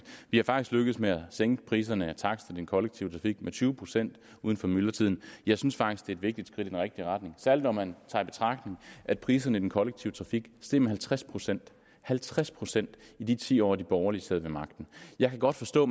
vi er faktisk lykkedes med at sænke priserne i den kollektive trafik med tyve procent uden for myldretiden jeg synes faktisk det er et vigtigt skridt i den rigtige retning særlig når man tager i betragtning at priserne i den kollektive trafik steg med halvtreds procent halvtreds procent i de ti år hvor de borgerlige sad ved magten jeg kan godt forstå